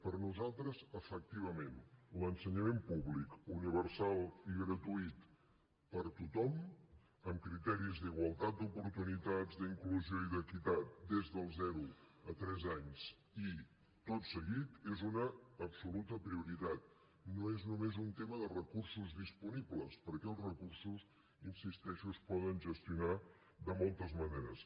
per nosaltres efectivament l’ensenyament públic universal i gratuït per a tothom amb criteris d’igualtat d’oportunitats d’inclusió i d’equitat des dels zero a tres anys i tot seguit és una absoluta prioritat no és només un tema de recursos disponibles perquè els recursos hi insisteixo es poden gestionar de moltes maneres